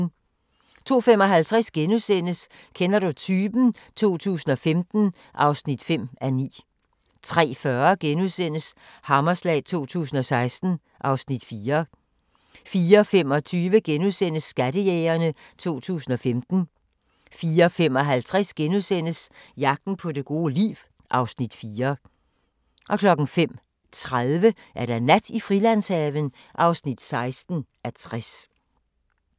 02:55: Kender du typen? 2015 (5:9)* 03:40: Hammerslag 2016 (Afs. 4)* 04:25: Skattejægerne 2015 * 04:55: Jagten på det gode liv (Afs. 4)* 05:30: Nat i Frilandshaven (16:60)